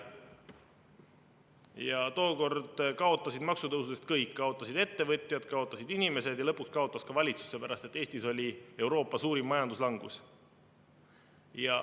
Ja tookord kaotasid maksutõusudest kõik: kaotasid ettevõtjad, kaotasid inimesed ja lõpuks kaotas ka valitsus, sellepärast, et Eestis oli Euroopa suurim majanduslangus.